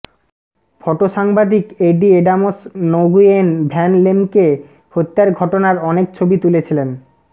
photo সাংবাদিক Eddie Adams Nguyen Van লেমকে হত্যার ঘটনার অনেক ছবি তুলেছিলেন